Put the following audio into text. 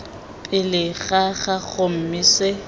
pele ga gago mme se